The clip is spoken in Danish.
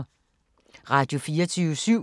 Radio24syv